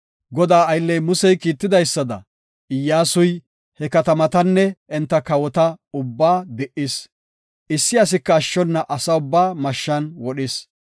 Godaa aylley Musey kiitidaysada, Iyyasuy he katamatanne enta kawota ubba di77is. Issi asika ashshona asa ubbaa mashshan wodhis.